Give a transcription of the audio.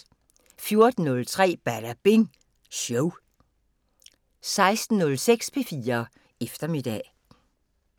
14:03: Badabing Show 16:06: P4 Eftermiddag